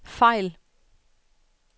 fejl